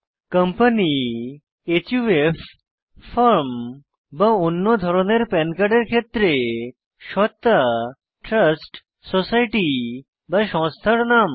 company HUF firm বা অন্য ধরনের পান কার্ডের ক্ষেত্রে সত্তা ট্রাস্ট সোসাইটি সংস্থার নাম